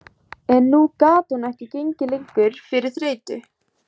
En nú gat hún ekki gengið lengur fyrir þreytu.